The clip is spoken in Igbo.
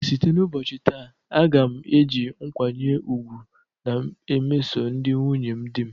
Site n'ubochi taa, a ga m eji nkwanye ugwu na emeso ndi nwunye dị m